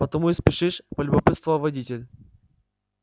потому и спешишь полюбопытствовал водитель